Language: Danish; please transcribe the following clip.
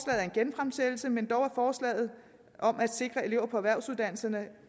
er en genfremsættelse men dog er forslaget om at sikre elever på erhvervsuddannelserne